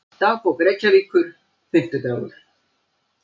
Dagbók Reykjavíkur, Fimmtidagur